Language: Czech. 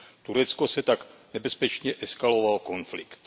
Turecko tak nebezpečně eskalovalo konflikt.